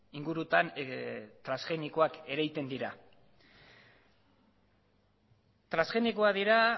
ingurutan transgenikoak ereiten dira transgenikoak dira